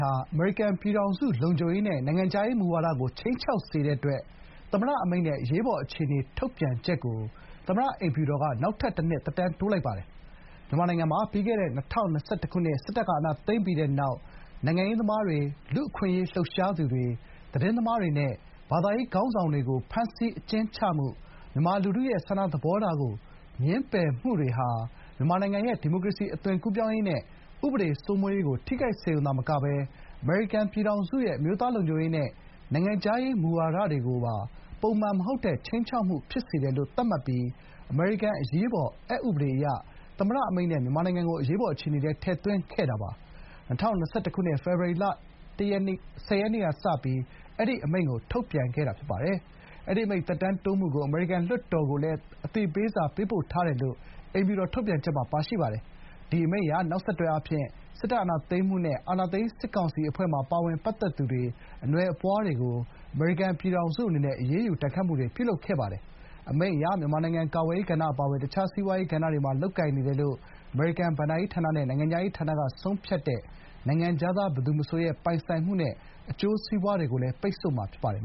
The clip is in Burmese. ဟာ အမေရိကန်ပြည်ထောင်စုလုံခြုံရေးနဲ့ နိုင်ငံခြားရေးမူဝါဒကို ခြိမ်းခြောက်စေတဲ့အတွက် သမ္မတအမိန့်နဲ့ အရေးပေါ်အခြေအနေထုတ်ပြန်ချက်သမ္မတအိမ်ဖြူတော်က နောက်ထပ်တနှစ် သက်တမ်းတိုးလိုက်ပါတယ်။ မြန်မာနိုင်ငံမှာ ပြီးခဲ့တဲ့ ၂၀၂၁ ခုနှစ် စစ်တပ်က အာဏာသိမ်းပြီးတဲ့နောက် နိုင်ငံရေးသမားတွေ၊ လူ့အခွင့်အရေးလှုပ်ရှားသူတွေ၊ သတင်းသမားတွေနဲ့ ဘာသာရေးခေါင်းဆောင်တွေကို ဖမ်းဆီးအကျဉ်းချမှု၊ မြန်မာလူထုရဲ့ဆန္ဒသဘောထားကို ငြင်းပယ်မှုတွေဟာ မြန်မာနိုင်ငံရဲ့ ဒီမိုကရေစီအသွင်ကူးပြောင်းရေးနဲ့ ဥပဒေစိုးမိုးရေးကို ထိခိုက်စေရုံသာမက အမေရိကန်ပြည်ထောင်စုရဲ့ အမျိုးသားလုံခြုံရေးနဲ့ နိုင်ငံခြားရေးမူဝါဒကိုပါ ပုံမှန်မဟုတ်တဲ့ ခြိမ်းခြောက်မှုဖြစ်စေတယ်လို့ သတ်မှတ်ပြီး အမေရိကန်အရေးပေါ်အက်ဥပဒေအရ သမ္မတအမိန့်နဲ့ မြန်မာနိုင်ငံကို အရေးပေါ်အခြေအနေထဲ ထည့်သွင်းခဲ့ပါတယ်။ ၂၀၂၁ ခုနှစ် ဖေဖော်ဝါရီလ ၁၀ ရက်နေ့က စပြီး အဲဒီ အမိန့်ကို ထုတ်ပြန်ခဲ့တာပါ။ အဲဒီအမိန့် သက်တမ်းတိုးမှုကို အမေရိကန်လွှတ်တော်ကိုလည်း အသိပေးစာ ပေးပို့ထားတယ်လို့ အိမ်ဖြူတော်ထုတ်ပြန်ချက်မှာ ပါရှိပါတယ်။ ဒီအမိန့်အရ နောက်ဆက်တွဲအားဖြင့် စစ်တပ်အာဏာသိမ်းမှုနဲ့ အာဏာသိမ်းစစ်ကောင်စီအဖွဲ့မှာ ပါဝင်ပတ်သက်သူတွေ အနွယ်အပွားတွေကို အမေရိကန်ပြည်ထောင်စုအနေနဲ့ အရေးယူဒဏ်ခတ်မှုတွေ ပြုလုပ်ခဲ့ပါတယ်။ အမိန့်အရ မြန်မာနိုင်ငံကာကွယ်ရေးကဏ္ဍအပါအဝင် တခြားစီးပွားရေးကဏ္ဍတွေမှာ လုပ်ကိုင်နေတယ်လို့ အမေရိကန်ဘဏ္ဍာရေးဌာနဲ့ နိုင်ငံခြားရေးဌာနကဆုံးဖြတ်တဲ့ နိုင်ငံခြားသားဘယ်သူမဆိုရဲ့ ပိုင်ဆိုင်မှုနဲ့ အကျိုးစီးပွားတွေကို ပိတ်ဆို့မှာဖြစ်ပါတယ်